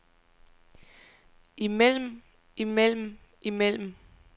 imellem imellem imellem